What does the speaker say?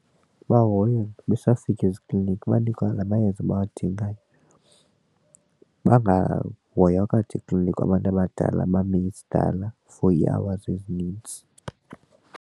Bahoywa besafika ezikliniki banikwa la mayeza bawadingayo bangahoywa kade ekliniki abantu abadala bame sidala for ii-hours ezinintsi.